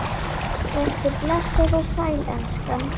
Vertu blessuð og sæl, elskan!